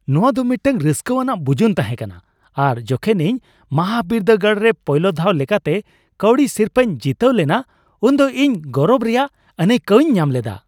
ᱱᱚᱣᱟ ᱫᱚ ᱢᱤᱫᱴᱟᱝ ᱨᱟᱹᱥᱠᱟᱹᱣᱟᱱᱟᱜ ᱵᱩᱡᱩᱱ ᱛᱟᱦᱮᱸ ᱠᱟᱱᱟ ᱟᱨ ᱡᱚᱠᱷᱚᱱ ᱤᱧ ᱢᱟᱦᱟᱵᱤᱨᱫᱟᱹᱜᱟᱲ ᱨᱮ ᱯᱳᱭᱞᱳ ᱫᱷᱟᱣ ᱞᱮᱠᱟᱛᱮ ᱠᱟᱹᱣᱰᱤ ᱥᱤᱨᱯᱟᱹᱧ ᱡᱤᱛᱟᱹᱣ ᱞᱮᱱᱟ ᱩᱱᱫᱚ ᱤᱧ ᱜᱚᱨᱚᱵᱽ ᱨᱮᱭᱟᱜ ᱟᱹᱱᱟᱹᱭᱠᱟᱹᱣᱤᱧ ᱧᱟᱢ ᱞᱮᱫᱟ ᱾